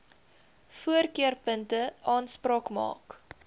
voorkeurpunte aanspraak maak